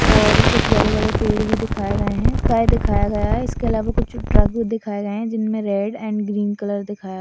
और कुछ बड़े-बड़े पेड़ भी दिखाए गए हैं स्काइ दिखाया गया है इसके अलावा कुछ ट्रक भी दिखाए गए हैं जिनमे रेड एंड ग्रीन कलर दिखाया --